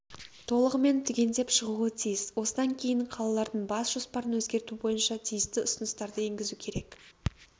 толығымен түгендеп шығуы тиіс осыдан кейін қалалардың бас жоспарын өзгерту бойынша тиісті ұсыныстарды енгізу керек